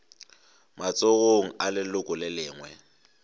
matsogong a leloko le lengwe